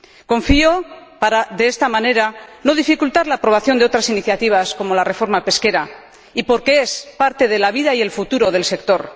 Confío en que, de esta manera, no se dificulte la aprobación de otras iniciativas, como la reforma pesquera, porque es parte de la vida y el futuro del sector.